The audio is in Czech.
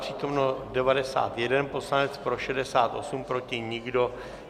Přítomen 91 poslanec, pro 68, proti nikdo.